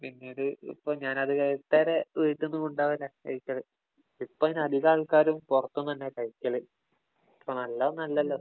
പിന്നീട് ഇപ്പം ഞാന്വീട്ടിന്നു കൊണ്ടുപോകലാ കഴിക്കല്. ഇപ്പഴ് അങ്ങനെ അധികം ആള്‍ക്കാരും പൊറത്ത് നിന്നാ കഴിക്കല്. നല്ലതൊന്നുമല്ലല്ലോ.